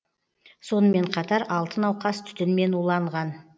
сонымен қатар алты науқас түтінмен уланған